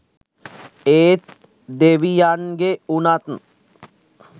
ඒත් දෙවියන්ගෙ උනත්